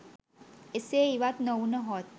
එසේ ඉවත් නොවුනහොත්